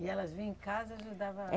E elas vinham em casa e ajudavam a é